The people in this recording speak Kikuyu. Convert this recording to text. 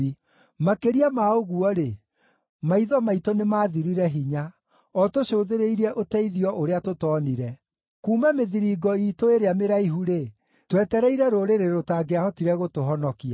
Makĩria ma ũguo-rĩ, maitho maitũ nĩmathirire hinya, o tũcũthĩrĩirie ũteithio ũrĩa tũtoonire; kuuma mĩthiringo iitũ ĩrĩa mĩraihu-rĩ, twetereire rũrĩrĩ rũtangĩahotire gũtũhonokia.